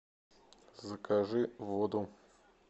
закажи воду